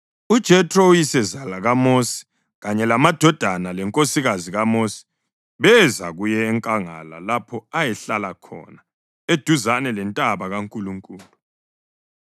UJethro, uyisezala kaMosi kanye lamadodana lenkosikazi kaMosi beza kuye enkangala lapho ayehlala khona eduzane lentaba kaNkulunkulu.